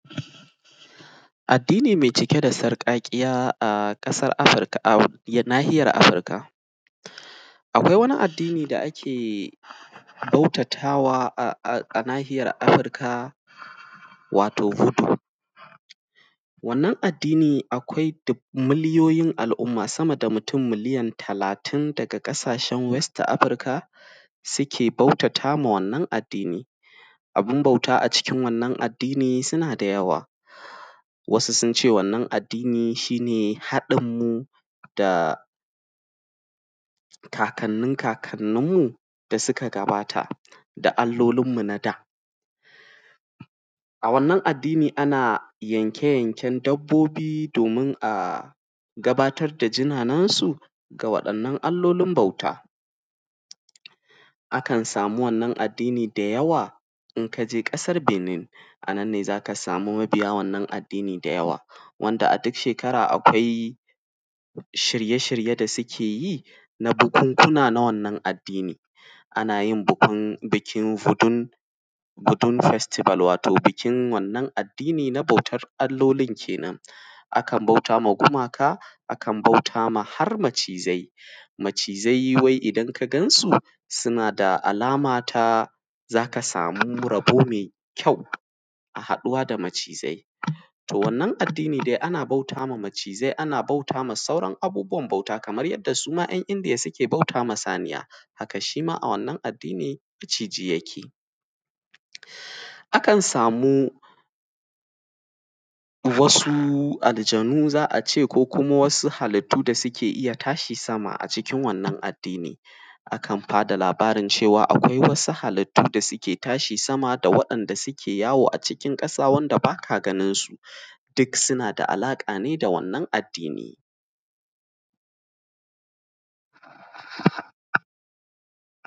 Addini mai cike da sarƙaƙiya a ƙasar Afirka, a, Nahiyar Afirka. Akwai wani addini da ake bautatawa a nahiyar Afirka, wato ‘Butu’. Wannan addini akwai dub.. miliyoyin al’umma sama da mutum miliyan talatin tun daga ƙasashen West Africa suke bautata wa wannan addini. Abin bauta a cikin wannan addini suna da yawa. Wasu sun ce wannan addini shi ne haɗinmu da kakannin kakanninmu da suka gabata, da allolinmu na da. A wannan addini ana yanke-yanken dabbobi domin a gabatar da jinanensu ga waɗannan allolin bauta. Akan samu wannan addini da yawa in ka je ƙasar Benin, A nan ne za ka samu mabiya wannan addini da yawa, wanda a duk shekara akwai shirye-shirye da suke yi na bukunkuna na wannan addini. Ana yin bikin ‘Futun Festival’ wato bikin wannan addini na bautar allolin ke nan. Akan bauta wa gumaka; akan bauta ma har macizai. Macizai wai idan ka gan su, suna da alama ta, za ka samu rabo mai kyau. Haɗuwa da macizai. To wannan addini dai ana bauta ma macizai; ana bauta ma abubuwan bauta kamar yadda su ma `yan Indiya suke bauta ma saniya, haka shi ma a wannan addini maciji yake. Akan samu, wasu aljanu za a ce ko kuma wasu halittu da suke iya tashi sama a cikin wannan addini. Akan ba da labarin cewa, akwai wasu halittu da suke tashi sama da waɗanda suke yawo a cikin ƙasa wanda ba ka ganin su, duk suna da alaƙa ne da wannan addini.